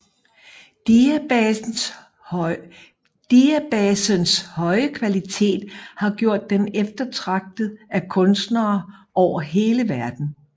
Diabasens høje kvalitet har gjort den eftertragtet af kunstnere over hele verden